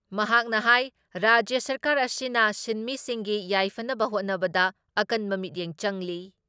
ꯃꯍꯥꯛꯅ ꯍꯥꯏ ꯔꯥꯖ꯭ꯌ ꯁꯔꯀꯥꯔ ꯑꯁꯤꯅ ꯁꯤꯟꯃꯤꯁꯤꯡꯒꯤ ꯌꯥꯏꯐꯅꯕ ꯍꯣꯠꯅꯕꯗ ꯑꯀꯟꯕ ꯃꯤꯠꯌꯦꯡ ꯆꯪꯂꯤ ꯫